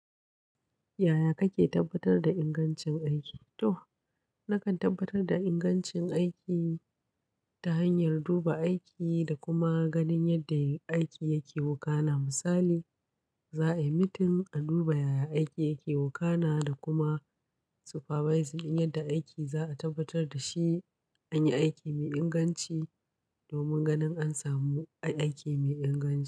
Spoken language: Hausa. Yaya kake tabbatar da ingancin aiki? To, nakan tabbatar da ingancin aiki ta hanyar duba aiki da kuma ganin yadda aiki yake wukana. Misali, za a yi meeting, a duba yaya aiki yake wukana da kuma supervising yadda aiki za a tabbatar da shi, an yi aiki mai inganci domin ganin an samu aiki mai inganci.